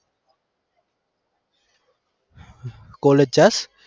college જાસ?